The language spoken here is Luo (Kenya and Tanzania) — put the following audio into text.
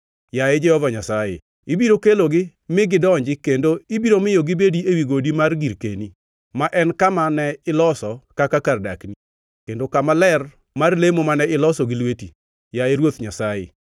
Yaye Jehova Nyasaye, ibiro kelogi mi gidonji kendo ibiro miyo gibedi ewi godi mar girkeni, ma en kama ne iloso kaka kar dakni, kendo kama ler mar lemo mane iloso gi lweti, yaye Ruoth Nyasaye.